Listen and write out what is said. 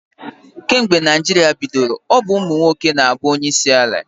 Kemgbe Naịjirịa bidoro, ọ bụ ụmụ nwoke na-abụ onyeisi ala.